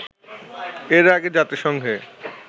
এর আগে জাতিসংঘে